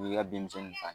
N'i ka denmisɛnnin faga